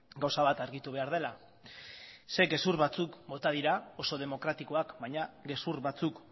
gauza bat argitu behar dela zeren gezur batzuk bota dira oso demokratikoak baina gezur batzuk